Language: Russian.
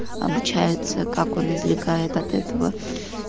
обучается как он извлекает от этого